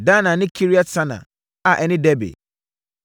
Dana ne Kiriat-Sana a ɛne Debir,